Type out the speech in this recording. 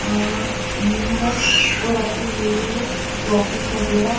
वह वो रखी हुई हैं टॉफिस वगैरा--